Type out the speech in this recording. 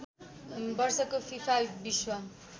वर्षको फिफा विश्व